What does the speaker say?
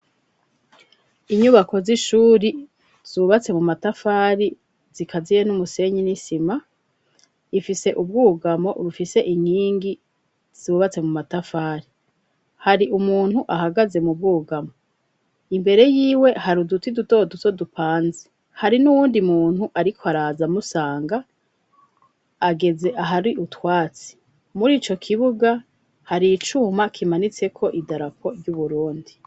Inyubako z'ishure zubatse mu matafari zikaziye n'umusenyi n'isima, ifise ubwugamo bufise inkingi zubatse mu matafari. Hari umuntu ahagaze mu bwugamo imbere yiwe hari uduti duto duto dupanze. Hari n'uwundi muntu ariko araza musanga, ageze ahari utwatsi. Muri ico kibuga hari icuma kimanitseko idarapo ry'Uburundi.